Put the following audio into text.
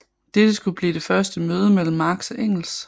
Dette skulle blive det første møde mellem Marx og Engels